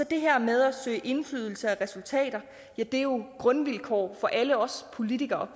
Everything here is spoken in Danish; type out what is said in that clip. det her med at søge indflydelse og resultater er jo grundvilkår for alle os politikere